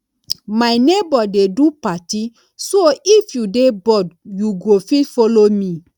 my neighbor dey do party so if you dey bored you go fit follow me